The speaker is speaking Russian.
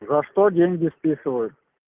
за что деньги списывают